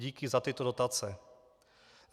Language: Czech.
Díky za tyto dotace.